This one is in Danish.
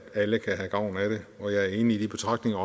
alle kan have gavn af det og jeg er enig i de betragtninger